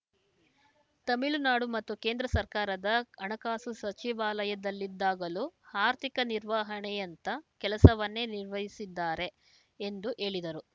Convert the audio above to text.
ತಮಿಳುನಾಡು ಮತ್ತು ಕೇಂದ್ರ ಸರ್ಕಾರದ ಹಣಕಾಸು ಸಚಿವಾಲಯದಲ್ಲಿದ್ದಾಗಲೂ ಆರ್ಥಿಕ ನಿರ್ವಹಣೆಯಂಥ ಕೆಲಸವನ್ನೇ ನಿರ್ವಹಿಸಿದ್ದಾರೆ ಎಂದು ಹೇಳಿದರು